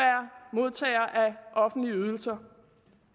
modtager af offentlige ydelser